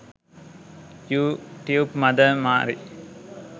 you tube mother Mary